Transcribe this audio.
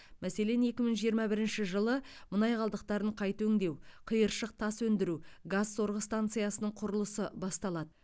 мәселен екі мың жиырма бірінші жылы мұнай қалдықтарын қайта өңдеу қиыршық тас өндіру газ сорғы станциясының құрылысы басталады